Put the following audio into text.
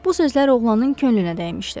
Bu sözlər oğlanın könlünə dəymişdi.